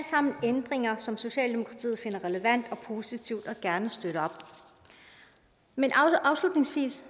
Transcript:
sammen ændringer som socialdemokratiet finder relevant og positivt og gerne støtter men afslutningsvis